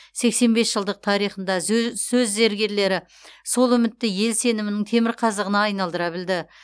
сексен бес жылдық тарихында зө сөз зергерлері сол үмітті ел сенімінің темір қазығына айналдыра білді